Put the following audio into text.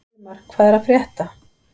Sigmar, hvað er að frétta?